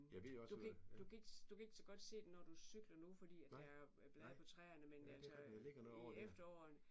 Du kan ikke du kan ikke du kan ikke så godt se den når du cykler nu fordi at der er er blade på træerne men altså i efteråret